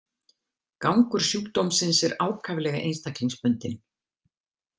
Gangur sjúkdómsins er ákaflega einstaklingsbundinn.